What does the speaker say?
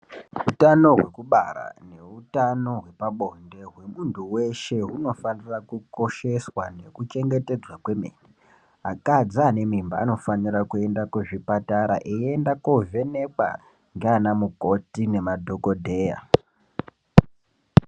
Utano hwekubara neutano hwepabonde hwemuntu weshe hunofanira kukosheswa nekuchengetedzwa kwemene, akadzi ane mimba anofanira kuenda kuzvipatara eienda koovhenekwa ngaanamukoti nemadhogodheya.